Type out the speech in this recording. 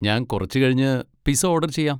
ഞാൻ കുറച്ച് കഴിഞ്ഞ് പിസ ഓഡർ ചെയ്യാം.